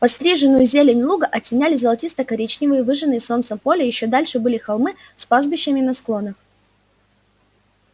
подстриженную зелень луга оттеняли золотисто-коричневые выжженные солнцем поля ещё дальше были холмы с пастбищами на склонах